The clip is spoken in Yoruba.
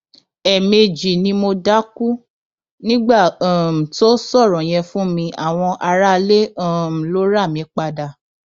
ẹẹmejì ni mo dákú nígbà um tó sọrọ yẹn fún mi àwọn aráalé um ló rà mí padà